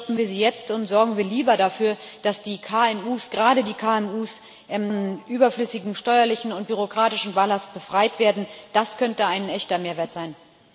Stoppen wir sie jetzt und sorgen wir lieber dafür, dass die KMU gerade die KMU von überflüssigem steuerlichen und bürokratischen Ballast befreit werden das könnte ein echter Mehrwert sein.